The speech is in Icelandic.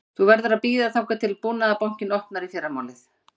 Þú verður að bíða þangað til Búnaðarbankinn opnar í fyrramálið